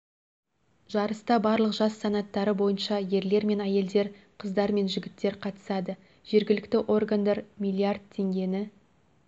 жарыста барлық жас санаттары бойынша ерлер мен әйелдер қыздар мен жігіттер қатысады жергілікті органдар миллиард теңгені